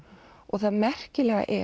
það merkilega er